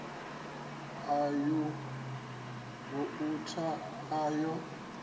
ya u vouta a yo